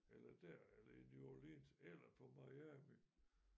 Eller der eller i New Orleans eller på Miami